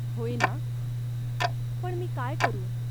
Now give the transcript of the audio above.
होय ना ? पण मी काय करू ?